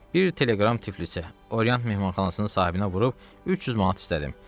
Bir telegram Tiflisə, Oriant mehmanxanasının sahibinə vurub 300 manat istədim.